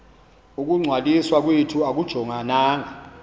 ukungcwaliswa kwethu akujongananga